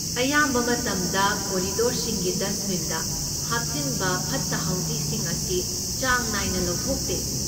ꯑꯌꯥꯝꯕ ꯃꯇꯝꯗ ꯀꯣꯔꯤꯗꯣꯔꯁꯤꯡꯒꯤ ꯗꯁꯠꯕꯤꯟꯗ ꯊꯝꯍꯥꯞꯆꯤꯟꯕ ꯐꯠꯇ ꯍꯥꯎꯗꯤꯁꯤꯡ ꯑꯁꯤ ꯆꯥꯡ ꯅꯥꯏꯅ ꯂꯧꯊꯣꯛꯇꯦ꯫